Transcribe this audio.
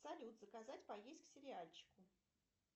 салют заказать поесть к сериальчику